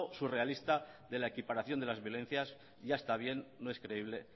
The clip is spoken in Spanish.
surrealista de la equiparación de las violencias ya está bien no es creíble